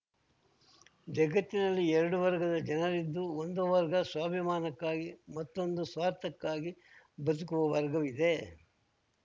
ಜಗತ್ತಿನಲ್ಲಿ ಎರಡು ವರ್ಗದ ಜನರಿದ್ದು ಒಂದು ವರ್ಗ ಸ್ವಾಭಿಮಾನಕ್ಕಾಗಿ ಮತ್ತೊಂದು ಸ್ವಾರ್ಥಕ್ಕಾಗಿ ಬದುಕುವ ವರ್ಗವಿದೆ